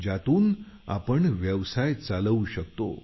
ज्यातून आपण व्यवसाय चालवू शकतो